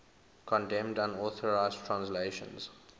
condemned unauthorized translations